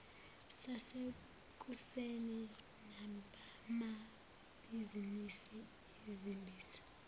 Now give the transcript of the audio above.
sasekuseni nabamabhizinisi izimbizo